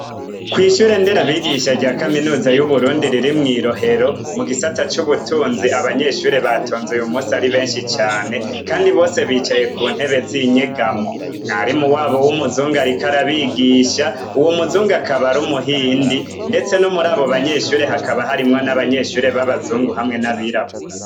Kw'ishure Nderabigisha rya Kaminuza y' Uburundi riri mw'i Rohero mu gisata c'ubutunzi, abanyeshure batonze uyu munsi ari benshi cane; kandi bose bicaye ku ntebe z'inyegamo. Mwarimu wabo w'umuzungu ariko arabigisha. Uwo muzungu akaba ari umuhindi. Ndetse no murabo banyeshure hakaba harimwo n'abanyeshure b'abazungu hamwe n'abirabura.